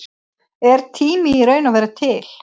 Er tími í raun og veru til?